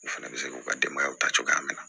U fɛnɛ bɛ se k'u ka denbayaw ta cogoya min na